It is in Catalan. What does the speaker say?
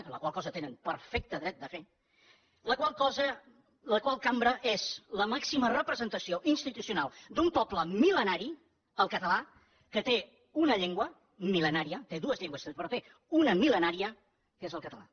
la qual cosa tenen perfecte dret de fer la qual cambra és la màxima representació institucional d’un poble mil·lenari el català que té una llengua mil·lenària té dues llengües però en té una mil·lenària que és el català